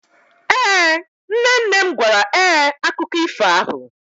Ee, nne nne m gwara ee akụkọ ifo ahụ.